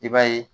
I b'a ye